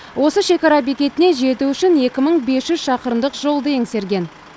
осы шекара бекетіне жету үшін екі мың бес жүз шақырымдық жолды еңсерген